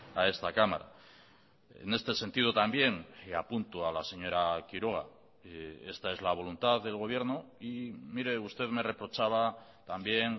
a esta cámara en este sentido también apunto a la señora quiroga esta es la voluntad del gobierno y mire usted me reprochaba también